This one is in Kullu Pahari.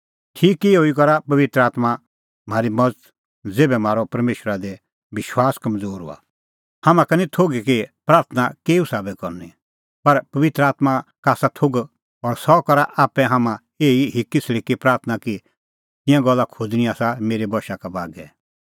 ठीक इहअ ई करा पबित्र आत्मां म्हारी मज़त ज़ेभै म्हारअ परमेशरा दी विश्वास कमज़ोर हआ हाम्हां का निं थोघै कि प्राथणां केऊ साबै करनी पर पबित्र आत्मां का आसा थोघ और सह करा आप्पै हाम्हां एही हिक्कीसल़िकी प्राथणां कि तिंयां गल्ला खोज़णीं आसा मेरै बशा का बागै